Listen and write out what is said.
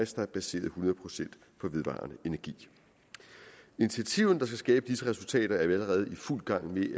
der er baseret hundrede procent på vedvarende energi initiativerne der skal skabe disse resultater er vi allerede i fuld gang med